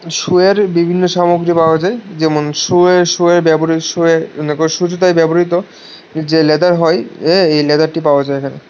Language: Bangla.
শুয়ের বিভিন্ন সামগ্রী পাওয়া যায় যেমন শুয়ের শুয়ের ব্যবহৃ শুয়ে শু জুতায় ব্যবহৃত যে লেদার হয় এ্যা এই লেদারটি পাওয়া যায় এখানে।